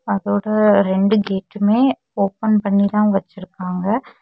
அதோட ரெண்டு கேட்டுமே ஓபன் பண்ணிதா வச்சிருக்காங்க.